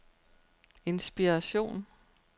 inspiration